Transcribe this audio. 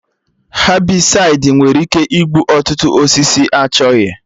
Hebịsaịdi nwere ike igbu ọtụtụ osisi achọghị